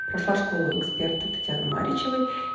прошла школу эксперта татьяны маричевой